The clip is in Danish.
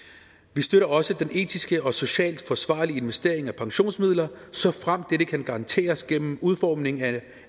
vi støtter også den etisk og socialt forsvarlige investering af pensionsmidler såfremt dette kan garanteres gennem udformning af